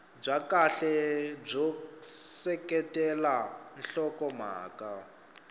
bya kahle byo seketela nhlokomhaka